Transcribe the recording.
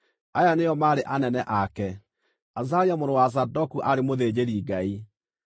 Aya nĩo maarĩ anene ake: Azaria mũrũ wa Zadoku aarĩ mũthĩnjĩri-Ngai;